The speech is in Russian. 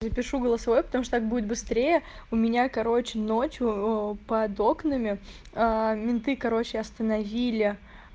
запишу голосовое потому что так будет быстрее у меня короче ночью под окнами менты короче остановили